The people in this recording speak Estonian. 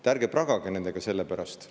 Te ärge pragage nendega selle pärast.